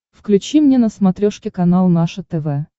включи мне на смотрешке канал наше тв